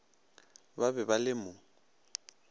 ba be ba le mo